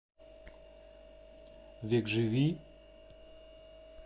векживи